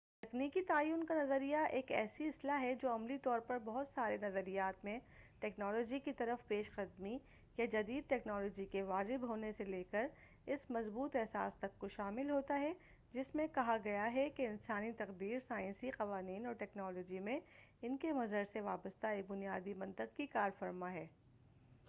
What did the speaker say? تکنیکی تعین کا نظریہ ایک ایسی اصطلاح ہے جو عملی طور پر بہت سارے نظریات جس میں ٹکنالوجی کی طرف پیش قدمی یا جدید ٹکنالوجی کے واجب ہونے سے لے کر اس مضبوط احساس تک کو شامل ہوتا ہے جس میں کھا گیا ہے کہ انسانی تقدیر سائنسی قوانین اور ٹیکنالوجی میں ان کے مظہر سے وابستہ ایک بنیادی منطق سے کارفرما ہے